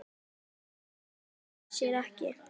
Þannig fjölgar það sér ekki.